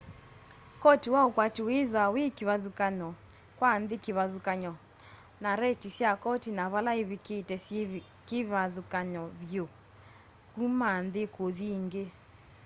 koti wa ukwati withwaa wi kivathukany'o kwa nthi kivathukany'o na rate sya koti na vala ivikite syikivathukany'o vyu kuma nthi kuthi ingi